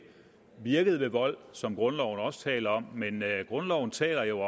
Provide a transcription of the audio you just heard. virket ved vold som grundloven også taler om men grundloven taler jo